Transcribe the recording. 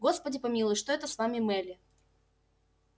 господи помилуй что это с вами мелли